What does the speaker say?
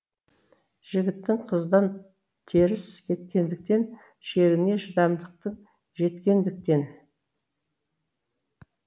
жігітің қыздан теріс кеткендіктен шегіне шыдамдықтың жеткендіктен